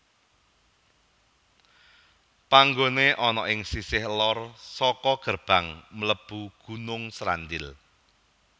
Panggoné ana ing sisih lor saka gerbang mlebu Gunung Srandil